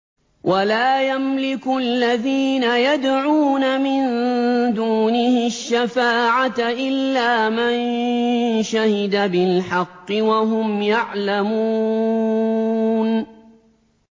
وَلَا يَمْلِكُ الَّذِينَ يَدْعُونَ مِن دُونِهِ الشَّفَاعَةَ إِلَّا مَن شَهِدَ بِالْحَقِّ وَهُمْ يَعْلَمُونَ